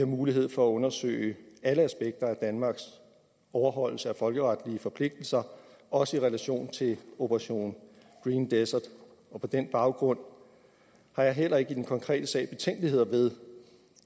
mulighed for at undersøge alle aspekter af danmarks overholdelse af folkeretlige forpligtelser også i relation til operation green desert og på den baggrund har jeg heller ikke i den konkrete sag betænkeligheder ved